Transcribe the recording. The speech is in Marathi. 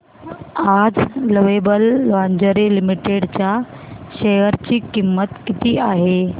आज लवेबल लॉन्जरे लिमिटेड च्या शेअर ची किंमत किती आहे